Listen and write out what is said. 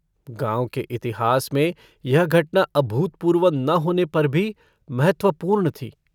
गाँव के इतिहास में यह घटना अभूतपूर्व न होने पर भी महत्वपूर्ण थी।